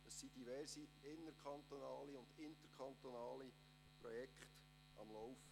Derzeit laufen diverse inner- und interkantonale Projekte.